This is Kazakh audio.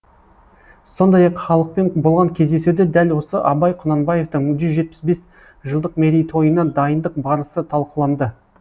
сондай ақ халықпен болған кездесуде дәл осы абай құнанбаевтың жүз жетпіс бес жылдық мерейтойына дайындық барысы талқыланды